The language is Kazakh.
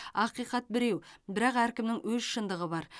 ақиқат біреу бірақ әркімнің өз шындығы бар